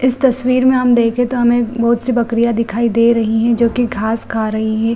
इस तस्वीर में हम देखे तो हमे बहुत सी बकरियां दिखाई दे रहीं हैं जो कि घास खा रही हैं।